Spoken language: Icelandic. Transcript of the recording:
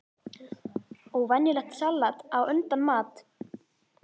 Og venjulegt salat á undan mat.